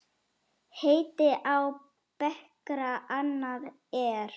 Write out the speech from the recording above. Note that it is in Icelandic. Heiti á bekra annað er.